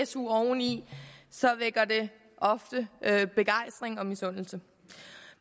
su oveni vækker det ofte begejstring og misundelse